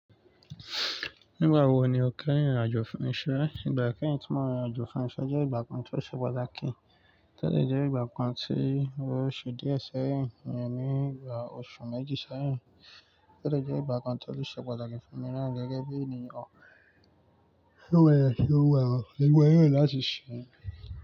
Nígbà wo ni o kẹ́yin rin ìrìn àjò fun iṣẹ́? Ìgbà kẹ́yin tí mo rìn àjò fún iṣẹ́ jẹ́ ìgbà kan tó ṣe pàtàkì. Ó tẹ́lẹ̀ jẹ́ ìgbà kan tí ó ṣe díẹ̀ sẹ́yìn, ní ìgbà oṣù méjì sẹ́yìn. Ó dẹ́jẹ̀ jẹ́ ìgbà kan tó ṣe pàtàkì fún mi láì gẹ́gẹ́ bí ènìyàn tó wẹ̀, tó wẹ̀, tó wẹ̀, tó wẹ̀ láti ṣíṣe.